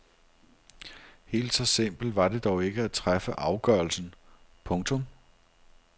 Helt så simpelt var det dog ikke at træffe afgørelsen. punktum